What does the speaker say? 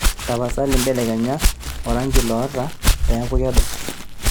tapasali mbelekenya orangi lotaa peeku kedo